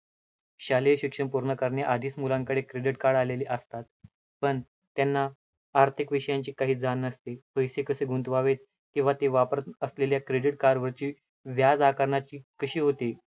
शालेय शिक्षण पूर्ण करणे आधीच मुलांकडे credit card आलेले असतात, पण त्यांना आर्थिक विषयांची काही जाण नसते. पैसे कसे गुंतवावे किंवा ते वापरतं असलेल्या credit card वरची व्याज आकरण्याची कशी होते,